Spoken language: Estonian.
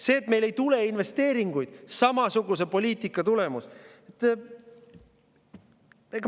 See, et meil ei tule investeeringuid, on samasuguse poliitika tulemus.